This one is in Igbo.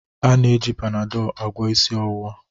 A na-eji Panadol agwọ isi ọwụwa